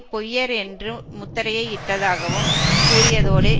பொய்யர் என்ற முத்திரையை இட்டதாகவும் கூறியதோடு